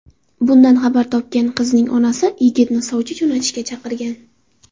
Bundan xabar topgan qizning onasi yigitni sovchi jo‘natishga chaqirgan.